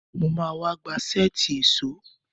Mo ma wá.gba sẹ́ẹ̀tì èṣó